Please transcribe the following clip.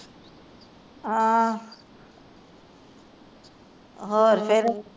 ਆਹ ਹੋਰ ਫਿਰ